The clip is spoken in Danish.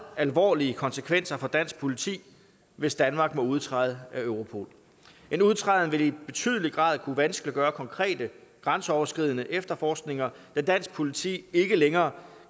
alvorlige konsekvenser for dansk politi hvis danmark må udtræde af europol en udtræden vil i betydelig grad kunne vanskeliggøre konkrete grænseoverskridende efterforskninger da dansk politi ikke længere